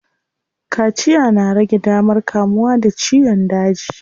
Kaciya na rage damar kamuwa da ciyon daji.